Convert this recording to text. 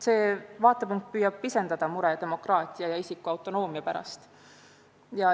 See vaatepunkt püüab pisendada muret demokraatia ja isikuautonoomia pärast.